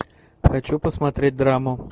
хочу посмотреть драму